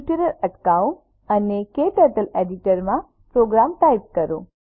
tutorial અટકાવો અને KTurtle editor માં પ્રોગ્રામ ટાઇપ કરો